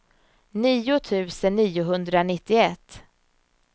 nio tusen niohundranittioett